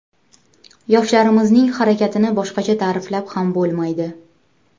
Yoshlarimizning harakatini boshqacha ta’riflab ham bo‘lmaydi.